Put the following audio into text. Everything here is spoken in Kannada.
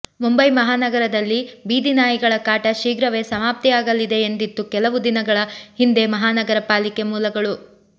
ಮುಂಬೈ ಮಹಾನಗರದಲ್ಲಿ ಬೀದಿ ನಾಯಿಗಳ ಕಾಟ ಶೀಘ್ರವೇ ಸಮಾಪ್ತಿಯಾಗಲಿದೆ ಎಂದಿತ್ತು ಕೆಲವು ದಿನಗಳ ಹಿಂದೆ ಮಹಾನಗರಪಾಲಿಕೆ ಮೂಲಗಳು